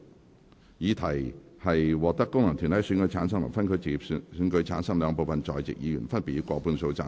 我認為議題獲得經由功能團體選舉產生及分區直接選舉產生的兩部分在席議員，分別以過半數贊成。